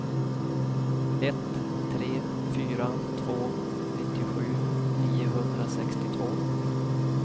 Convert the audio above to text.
ett tre fyra två nittiosju niohundrasextiotvå